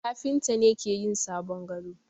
Kafinta ne ke yin sabon gado.